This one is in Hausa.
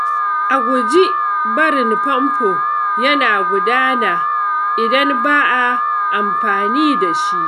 A guji barin famfo yana gudana idan ba a amfani da shi.